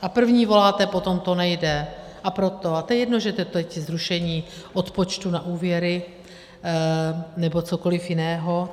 A první voláte po tom: to nejde, a proto, a je jedno, že je to teď zrušení odpočtu na úvěry nebo cokoliv jiného.